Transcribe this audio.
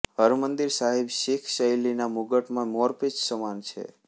હરમિંદર સાહિબ શીખ શૈલી ના મુગટમાં મોરપિચ્છ સમાન છે